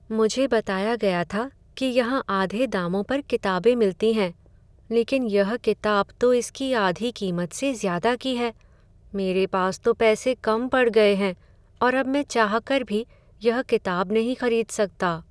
मुझे बताया गया था कि यहां आधे दामों पर किताबें मिलती हैं, लेकिन यह किताब तो इसकी आधी कीमत से ज़्यादा की है। मेरे पास तो पैसे कम पड़ गए हैं और अब मैं चाहकर भी यह किताब नहीं खरीद सकता।